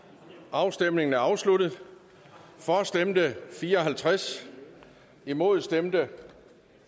afstemningen er afsluttet for stemte fire og halvtreds imod stemte